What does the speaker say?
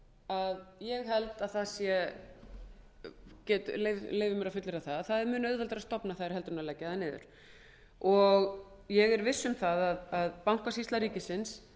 að ég leyfi mér að fullyrða að það sé mun auðveldara stofna þær en að leggja þær niður ég er viss um að verði bankasýslu ríkisins